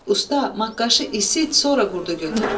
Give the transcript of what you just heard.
Usta, maqqaşı isit, sonra qurdu götür.